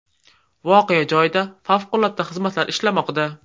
Voqea joyida favqulodda xizmatlar ishlamoqda.